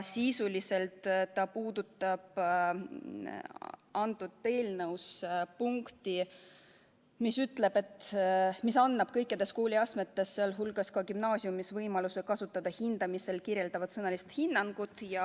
See puudutab eelnõus punkti, mis annab kõikides kooliastmetes, sh ka gümnaasiumis võimaluse kasutada hindamisel kirjeldavat sõnalist hinnangut.